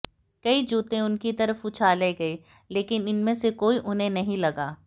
कई जूते उनकी तरफ उछाले गए लेकिन इनमें से कोई उन्हें नहीं लगा